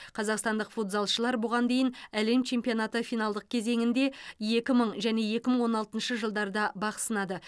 қазақстандық футзалшылар бұған дейін әлем чемпионаты финалдық кезеңінде екі мың және екі мың он алтыншы жылдарда бақ сынады